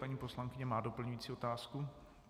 Paní poslankyně má doplňující otázku.